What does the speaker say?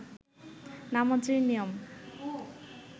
নামাজের নিয়ম